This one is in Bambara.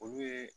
Olu ye